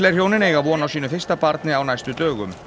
hjónin eiga von á sínu fyrsta barni á næstu dögum